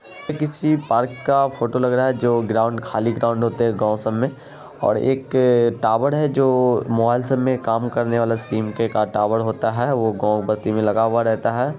--या किसी पार्क का फोटो लग रहा है जो ग्राउंड खली ग्राउंड होते हैं गौ सैम मैं और एक टावर है जो मॉल्स मैं काम करने वाले सिम का काम होता है वह गाँव बस्ती में लगा रहता है चारों साइड्स से यह ग्राउंड घेरा होवा लग रहा और इस क्रिकेट वगेरा भी खेलते हैं बची लोग जो काफी खूबसरत है।